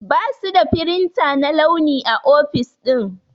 Basu da firinta na launi a ofis ɗin.